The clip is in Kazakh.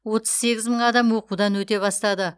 отыз сегіз мың адам оқудан өте бастады